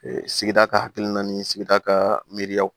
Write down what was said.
sigida ka hakilina ni sigida ka miiriyaw